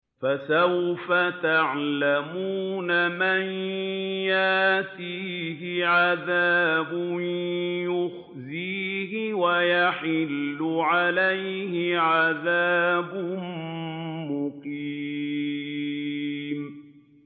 فَسَوْفَ تَعْلَمُونَ مَن يَأْتِيهِ عَذَابٌ يُخْزِيهِ وَيَحِلُّ عَلَيْهِ عَذَابٌ مُّقِيمٌ